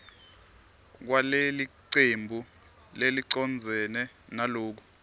kwalelicembu lelicondzene naloku